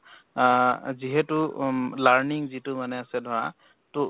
আহ যিহেতু um learning যিটো মানে আছে ধৰা তো